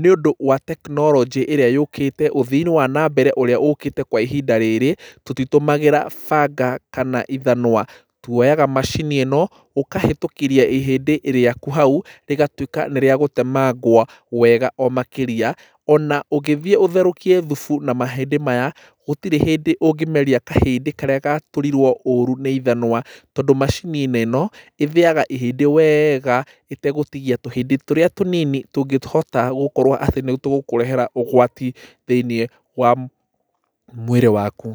nĩũndũ wa tekinorojĩ ĩrĩa yũkĩte ũthiinĩ wa nambere ũrĩa ũkĩte kwa ihinda rĩrĩ tũtitũmagĩra banga kana ithanũa twoyaga macini ĩno ũkahĩtũkĩria ihĩndĩ rĩaku hau rĩgatũĩka nĩ rĩagũtemangwo wega o makĩria ona ũngĩthĩe ũtherũkie thubu na mahĩndĩ maya gũtirĩ hĩndĩ ũngĩmeria kahĩndĩ karĩa gatũrirwo ũũru nĩ ithanũa tondũ macini-inĩ ĩno ĩthĩaga ihĩndĩ weega ĩtegũtigia tũhĩndĩ tũrĩa tũnini tũngĩhota gũkorwo atĩ nĩtũgũkũrehera ũgwati thĩĩnĩe wa mũĩrĩ waku.